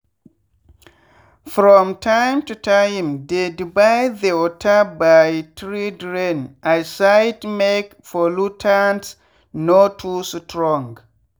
from time to timedey divide the water by 3drain 1 side make pollutants no too strong